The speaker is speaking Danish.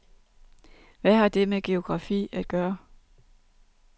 Hvad har det med geografi at gøre?